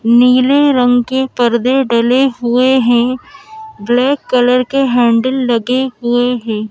नीले रंग के पर्दे डले हुए हैं ब्लैक कलर के हैंडल लगे हुए हैं।